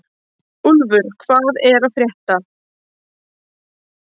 Úlfur, hvað er að frétta?